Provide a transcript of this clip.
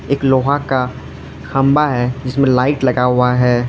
एक लोहा का खंबा है जिसमें लाइट लगा हुआ है।